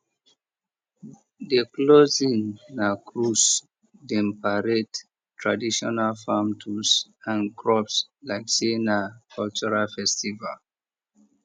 the closing na cruise dem parade traditional farm tools and crops like say na cultural festival